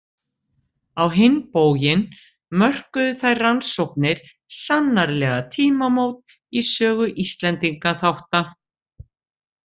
Á hinn bóginn mörkuðu þær rannsóknir sannarlega tímamót í sögu Íslendingaþátta.